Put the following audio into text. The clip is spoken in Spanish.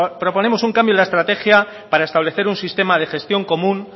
proponemos un cambio en la estrategia para establecer un sistema de gestión común